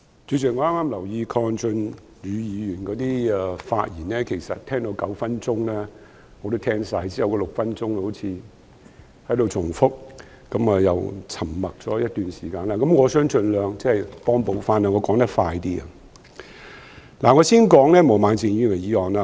主席，我剛才留意鄺俊宇議員的發言，其實聽到9分鐘已經聽完，因為其後那6分鐘好像只在重複論點，而他又沉默了一段時間，所以，我想盡量追回一些時間，我會說得比較快。